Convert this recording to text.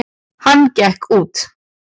Hann gekk út.